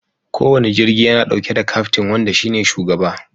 Kowane jirgi yana dauke da kaftin wanda shi ne shugaba.